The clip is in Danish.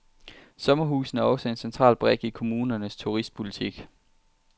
Sommerhusene er også en central brik i kommunernes turistpolitik.